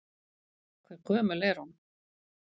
Hve gömul er hún?